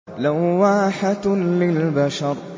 لَوَّاحَةٌ لِّلْبَشَرِ